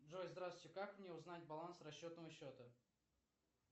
джой здравствуйте как мне узнать баланс расчетного счета